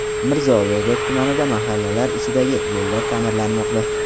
Mirzo Ulug‘bek tumanida mahallalar ichidagi yo‘llar ta’mirlanmoqda .